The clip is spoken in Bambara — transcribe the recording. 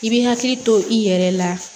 I bɛ hakili to i yɛrɛ la